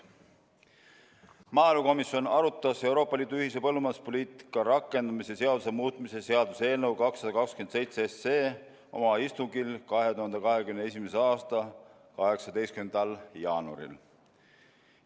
Maaelukomisjon arutas Euroopa Liidu ühise põllumajanduspoliitika rakendamise seaduse muutmise seaduse eelnõu 227 oma istungil 2021. aasta 18. jaanuaril.